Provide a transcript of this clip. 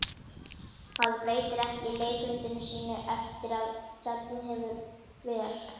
Maður breytir ekki leikritinu sínu eftir að tjaldið hefur ver